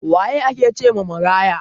Waye ake cewa maraya?